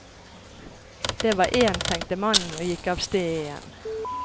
Det var én, tenkte mannen, og gikk avsted igjen.